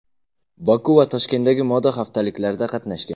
Boku va Toshkentdagi moda haftaliklarida qatnashgan.